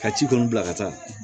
Ka ci kɔni bila ka taa